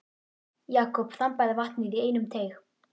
Jakob þambaði vatnið í einum teyg.